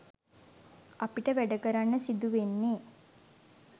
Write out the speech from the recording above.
අපිට වැඩ කරන්න සිදු වෙන්නෙ